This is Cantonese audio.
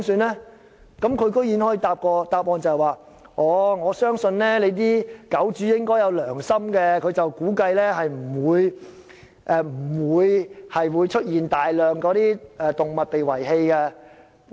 她居然可以答覆我，她相信狗主會有良心，因此估計不會出現大量動物被遺棄的情況。